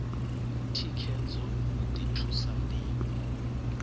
thikhedzo u ḓi thusa ṋdivho